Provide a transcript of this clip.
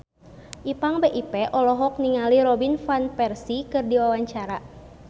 Ipank BIP olohok ningali Robin Van Persie keur diwawancara